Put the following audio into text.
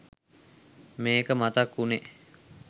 මේක මතක් වුණේ.